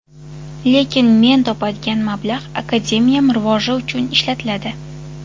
Lekin men topadigan mablag‘ akademiyam rivoji uchun ishlatiladi.